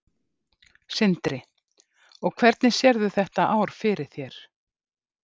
Sindri: Og hvernig sérðu þetta ár fyrir þér?